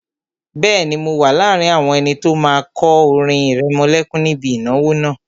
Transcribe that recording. Bẹ́ẹ̀ni, mo wà láàrin àwọn ẹni tó máa kọ orin ìrẹmọlẹ́kún níbi ìnáwó náà